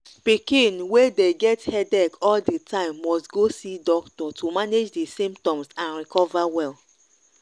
pikin wey dey get headache all di time must go see doctor to manage di symptoms and recover well.